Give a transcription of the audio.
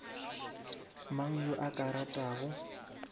mang yo a ka ratago